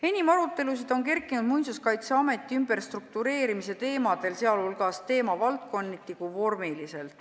Enim arutelusid on tekkinud Muinsuskaitseameti ümberstruktureerimise teemadel, nii teemavaldkonniti kui ka vormiliselt.